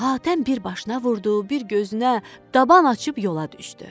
Hatəm bir başına vurdu, bir gözünə, daban açıb yola düşdü.